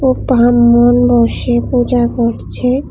ও ব্রাহ্মণ মশাই পূজা করছে।